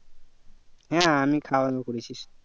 হ্যাঁ আমি খাওয়া দাওয়া করেছি